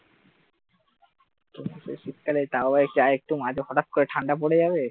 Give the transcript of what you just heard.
এই শীতকালে তাও মাঝে হঠাৎ করে ঠান্ডা পড়ে যাবে তারপর,